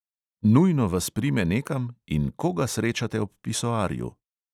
Nujno vas prime nekam in koga srečate ob pisoarju?